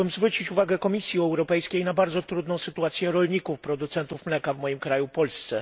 Chciałbym zwrócić uwagę Komisji Europejskiej na bardzo trudną sytuację rolników producentów mleka w moim kraju, Polsce.